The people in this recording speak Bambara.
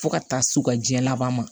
Fo ka taa se u ka jɛ laban ma